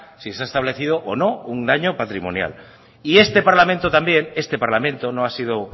si se ha establecido o no un daño patrimonial y este parlamento también este parlamento no ha sido